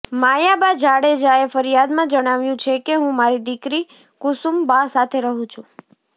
મયાબા જાડેજાએ ફરિયાદમાં જણાવ્યું છે કે હું મારી દિકરી કુસુમબા સાથે રહુ છું